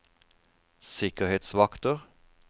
sikkerhetsvakter